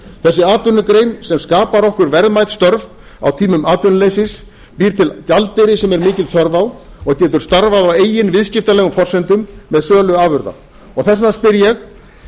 þessi atvinnugrein sem skapar okkur verðmæt störf á tímum atvinnuleysis býr til gjaldeyri sem er mikil þörf á og getur starfað á eigin viðskiptalegum forsendum með sölu afurða og þess vegna spyr ég